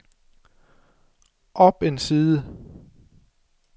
op en side